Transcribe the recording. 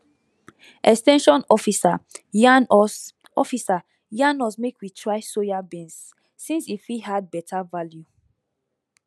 ex ten sion officer yarn us officer yarn us make we try soya beans since e fit add better value